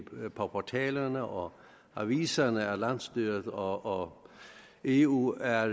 portalerne og aviserne at landsstyret og eu er